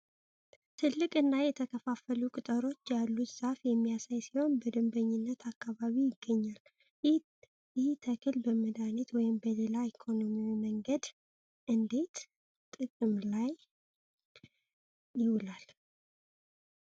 ትልቅና የተከፋፈሉ ቅጠሎች ያሉት ዛፍ የሚያሳይ ሲሆን በደንበኝነት አካባቢ ይገኛል። ይህ ተክል በመድኃኒትነት ወይም በሌላ ኢኮኖሚያዊ መንገድ እንዴት ጥቅም ላይ ይውላል?